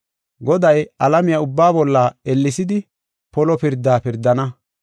Goday alamiya ubbaa bolla ellesidi polo pirdaa pirdana.”